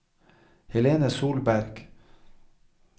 Helene Solberg